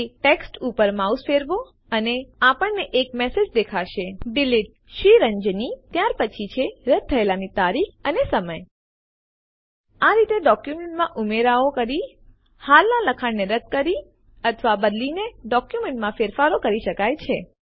તે ટેક્સ્ટ ઉપર માઉસ ફેરવો અને આપણને એક મેસેજ દેખાશે ડિલીટેડ Sriranjani ત્યાર પછી છે રદ્દ થયેલાની તારીખ અને સમય આ રીતે ડોક્યુમેન્ટમાં ઉમેરાઓ કરી હાલના લખાણ ને રદ કરી અથવા બદલીને ડોક્યુમેન્ટમાં ફેરફારો કરી શકાય છે